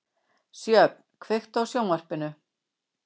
Sjöfn, kveiktu á sjónvarpinu.